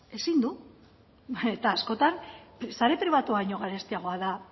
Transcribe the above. ezin du eta askotan sare pribatua baino garestiagoa da